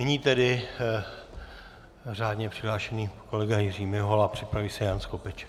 Nyní tedy řádně přihlášený kolega Jiří Mihola, připraví se Jan Skopeček.